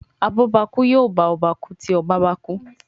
abobaku yóò bá ọba ku tí ọba bá kú.